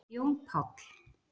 Jón Páll